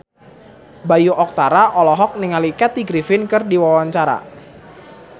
Bayu Octara olohok ningali Kathy Griffin keur diwawancara